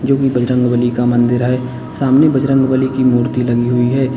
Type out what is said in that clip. बजरंगबली का मंदिर है सामने बजरंगबली की मूर्ति लगी हुई है।